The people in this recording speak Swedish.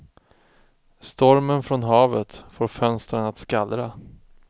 Stormen från havet får fönstren att skallra.